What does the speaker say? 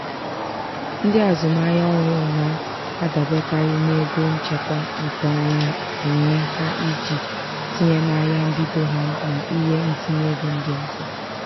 "ndị azụmahịa ọhụụ na-adaberekarị n'ego nchekwa nke onwe onwe ha iji tinye na ahịa mbido ha na ihe ntinyeego ndị ọzọ. "